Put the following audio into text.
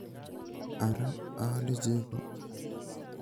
Ara aale cheko?